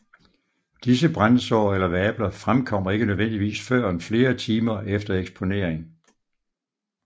Disse brandsår eller vabler fremkommer ikke nødvendigvis førend flere timer efter eksponering